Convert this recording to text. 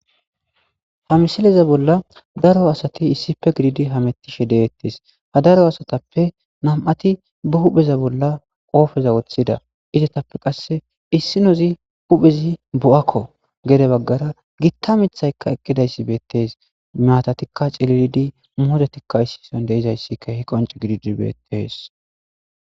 Ha misileza bolla daro asati issipe gididi hamettishe deettes ha daro asatappe nam7ati ba hupheza bolla qoofeza woththida izetappe qasse issinozi huphezi bo7akko gede baggara gitta mithaykka eqqidayssi beettees meyatatikka cililidi moodetikka issison deizayssika hi qonce gididi beettees.